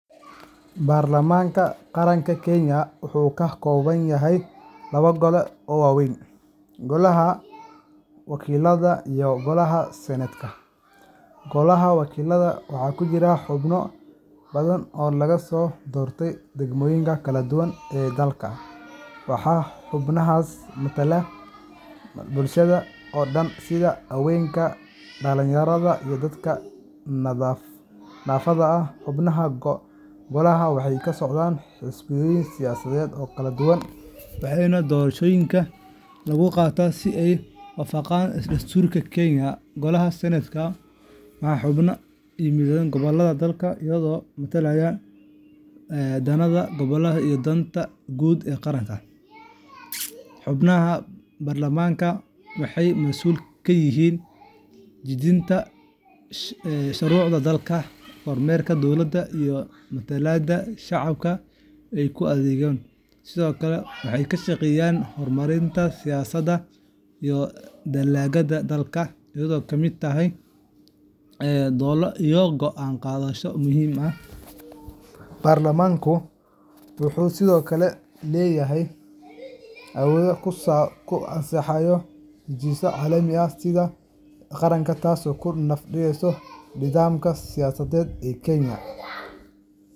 Baarlamaanka Qaranka Kenya wuxuu ka kooban yahay laba gole oo waaweyn: Golaha Wakiillada iyo Golaha Senetka. Golaha Wakiillada waxaa ku jira xubno badan oo laga soo doorto degmooyinka kala duwan ee dalka, waxaana xubnahaasi matala bulshada oo dhan, sida haweenka, dhalinyarada, iyo dadka naafada ah. Xubnaha golahan waxay ka socdaan xisbooyin siyaasadeed oo kala duwan, waxaana doorashada lagu qabtaa si waafaqsan dastuurka Kenya. Golaha Senetka waxaa xubnihiisu ka yimaadaan gobollada dalka, iyagoo matalaya danaha gobollada iyo danta guud ee qaranka. Xubnaha baarlamaanka waxay mas’uul ka yihiin dejinta shuruucda dalka, kormeerka dowladda, iyo matalaadda shacabka ay u adeegaan. Sidoo kale, waxay ka shaqeeyaan horumarinta siyaasadda iyo dhaqaalaha dalka, iyagoo ka qayb qaata doodo iyo go’aan qaadasho muhiim ah. Baarlamaanku wuxuu sidoo kale leeyahay awood uu ku ansixiyo heshiisyada caalamiga ah iyo miisaaniyadda qaranka, taasoo ka dhigaysa laf-dhabarta nidaamka siyaasadeed ee Kenya.